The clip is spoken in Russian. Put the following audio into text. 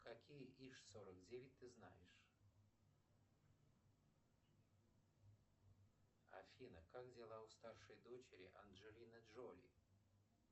какие иж сорок девять ты знаешь афина как дела у старшей дочери анджелины джоли